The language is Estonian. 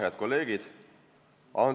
Head kolleegid!